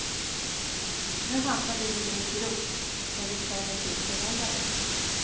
Nu hamnade vi en grupp där vi känner till förhållandena.